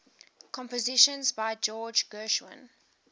compositions by george gershwin